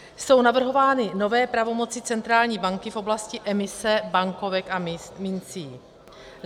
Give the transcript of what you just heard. Jsou navrhovány nové pravomoci centrální banky v oblasti emise bankovek a mincí.